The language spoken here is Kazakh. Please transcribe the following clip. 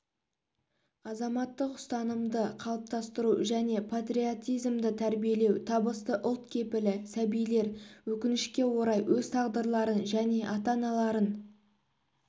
азаматтық ұстанымды қалыптастыру және патриотизмді тәрбиелеу табысты ұлт кепілі сәбилер өкінішке орай өз тағдырларын және ата-аналарын